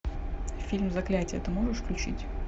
фильм заклятие ты можешь включить